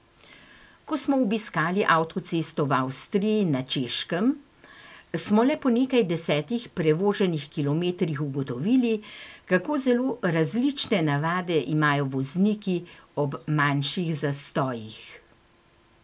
Ko smo obiskali avtocesto v Avstriji in na Češkem, smo le po nekaj desetih prevoženih kilometrih ugotovili, kako zelo različne navade imajo vozniki ob manjših zastojih.